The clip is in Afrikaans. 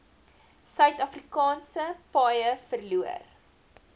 suidafrikaanse paaie verloor